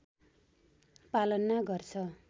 पालना गर्छ